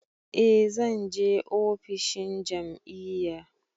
Eh zan je ofishin jam'iyya.